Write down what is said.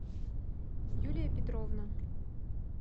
юлия петровна